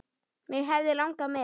Mig hefði langað með.